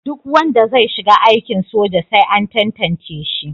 Duk wanda zai shiga aikin soja sai an tantance shi.